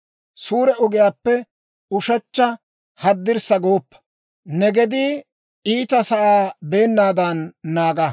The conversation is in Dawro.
Suure ogiyaappe ushechcha haddirssa gooppa; ne gedii iitasaa beennaadan naaga.